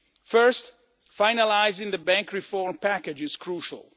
First, finalising the banking reform package is crucial.